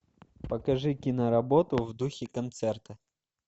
покажи кино работу в духе концерта